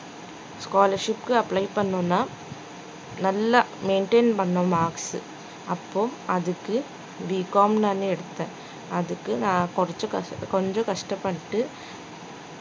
scholarship க்கு apply பண்ணனும்னா நல்லா maintain பண்ணனும் marks உ அப்போ அதுக்கு Bcom நானே எடுத்தேன் அதுக்கு நான் கொஞ்சம் கஷ்ட்~ கொஞ்சம் கஷ்டப்பட்டு